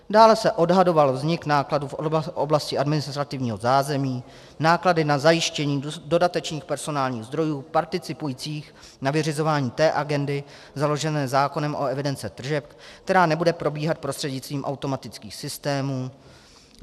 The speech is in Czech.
Dále se odhadoval vznik nákladů v oblasti administrativního zázemí, náklady na zajištění dodatečných personálních zdrojů participujících na vyřizování té agendy založené zákonem o evidenci tržeb, která nebude probíhat prostřednictvím automatických systémů.